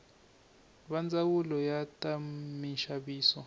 va ndzawulo ya ta minxaviso